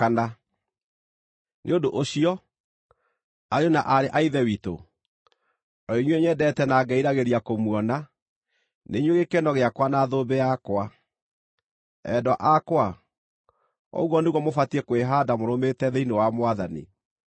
Nĩ ũndũ ũcio, ariũ na aarĩ a Ithe witũ, o inyuĩ nyendete na ngeriragĩria kũmuona, nĩ inyuĩ gĩkeno gĩakwa na thũmbĩ yakwa. Endwa akwa, ũguo nĩguo mũbatiĩ kwĩhaanda mũrũmĩte thĩinĩ wa Mwathani.